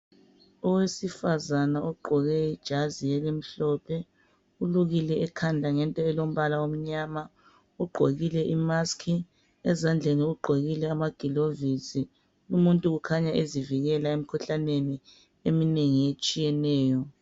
Owesifazana ogqoke ijazi elimhlophe ulukile ekhanda ngento elombala omnyama ugqokile imask ezandleni ugokile amagilovisi umuntu ukhanya ezivikela emkhuhlaneni eminengi etshiyeneyo